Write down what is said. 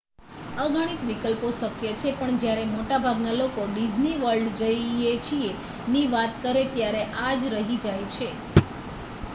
"અગણિત વિકલ્પો શક્ય છે પણ જ્યારે મોટાભાગના લોકો "ડિઝ્ની વર્લ્ડ જઈએ છીએ""ની વાત કરે ત્યારે આ જ રહી જાય છે.